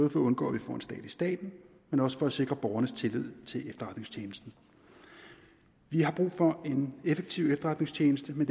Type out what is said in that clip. for at undgå at vi får en stat i staten men også for at sikre borgernes tillid til efterretningstjenesterne vi har brug for en effektiv efterretningstjeneste men